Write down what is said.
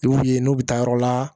I b'u ye n'u bɛ taa yɔrɔ la